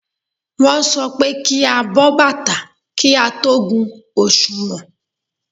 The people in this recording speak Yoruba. Wọ́n sọ pé kí á bọ́ bàtà kí á tó gun òsùnwọ̀n.